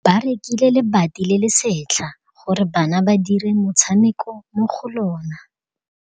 Ba rekile lebati le le setlha gore bana ba dire motshameko mo go lona.